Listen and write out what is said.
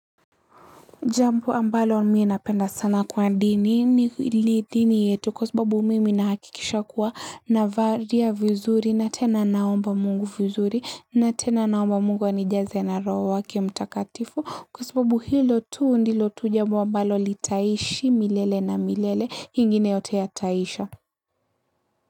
Jambo ambalo mii napenda sana kwa dini ni hili dini yetu kwa sababu mimi nahakikisha kuwa na valia vizuri na tena naomba mungu vizuri na tena naomba mungu anijaze na roho wake mtakatifu kwa sababu hilo tu ndilo tu jambo ambalo litaishi milele na milele ingine yote yataisha.